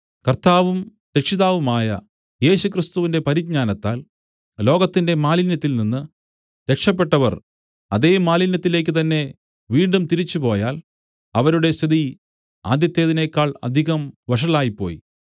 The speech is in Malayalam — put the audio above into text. കർത്താവും രക്ഷിതാവുമായ യേശുക്രിസ്തുവിന്റെ പരിജ്ഞാനത്താൽ ലോകത്തിന്റെ മാലിന്യത്തിൽനിന്ന് രക്ഷപെട്ടവർ അതേ മാലിന്യത്തിലേക്കുതന്നെ വീണ്ടും തിരിച്ചുപോയാൽ അവരുടെ സ്ഥിതി ആദ്യത്തേതിനേക്കാൾ അധികം വഷളായിപ്പോയി